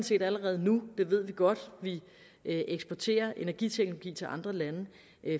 set allerede nu det ved vi godt vi eksporterer energiteknologi til andre lande